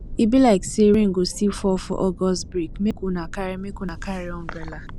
e be like sey rain go still fall for august break make una carry make una carry umbrella